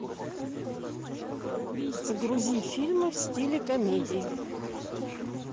загрузи фильмы в стиле комедии